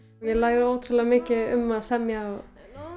ég læri ótrúlega mikið um að semja og